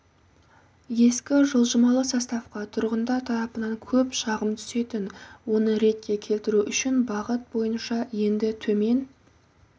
ескі жылжымалы составқа тұрғындар тарапынан көп шағым түсетін оны ретке келтіру үшін бағыт бойынша енді төмен